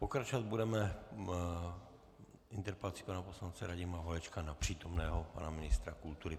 Pokračovat budeme interpelací pana poslance Radima Holečka na přítomného pana ministra kultury.